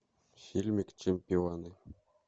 фильмик чемпионы